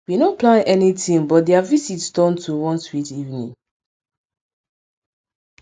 we no plan anytin but their visit turn to one sweet evening